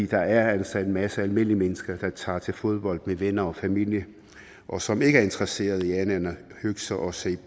der er altså en masse almindelige mennesker der tager til fodbold med venner og familie og som ikke er interesseret i andet end at hygge sig og se